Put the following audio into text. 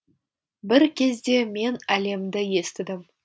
бір кезде мен әлемді естідім